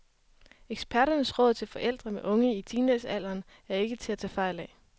Eksperternes råd til forældre med unge i teenagealderen er ikke til at tage fejl af.